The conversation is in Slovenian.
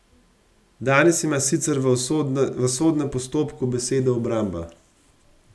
Danes ima sicer v sodnem postopku besedo obramba.